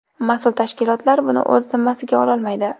Mas’ul tashkilotlar buni o‘z zimmasiga ololmaydi.